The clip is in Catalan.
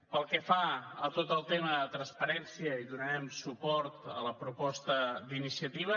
pel que fa a tot el tema de transparència donarem suport a la proposta d’iniciativa